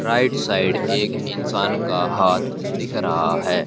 Right side एक इंसान का हाथ दिख रहा है।